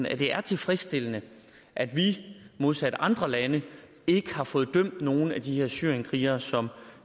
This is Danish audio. at det er tilfredsstillende at vi modsat andre lande ikke har fået dømt nogen af de her syrienskrigere som